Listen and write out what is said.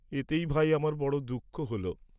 এতেই ভাই, আমার বড় দুঃখ হল।